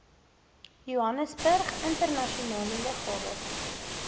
johannesburg internasionale lughawe